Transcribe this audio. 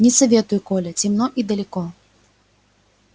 не советую коля темно и далеко